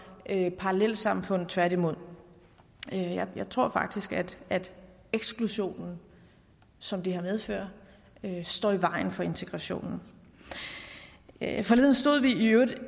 parallelsamfund på tværtimod jeg tror faktisk at eksklusionen som det her medfører står i vejen for integrationen forleden stod vi i øvrigt